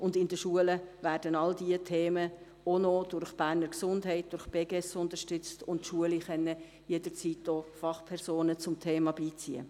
Zudem werden in den Schulen alle diese Themen auch noch durch die Berner Gesundheit (Beges) unterstützt, und die Schulen können auch jederzeit Fachpersonen zum Thema beiziehen.